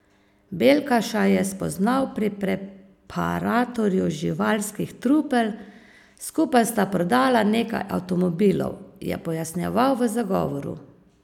Beljkaša je spoznal pri preparatorju živalskih trupel, skupaj sta prodala nekaj avtomobilov, je pojasnjeval v zagovoru.